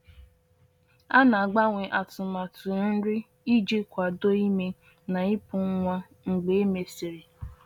A na-agbanwe atụmatụ nri iji kwado ime na ịpụ nwa mgbe e mesịrị.